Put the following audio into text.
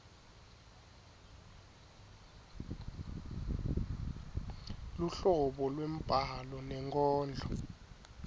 luhlobo lwembhalo nenkondlo